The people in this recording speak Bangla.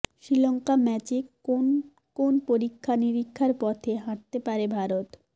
শ্রীলঙ্কা ম্যাচে কোন কোন পরীক্ষা নিরীক্ষার পথে হাঁটতে পারে ভারত